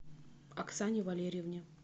оксане валерьевне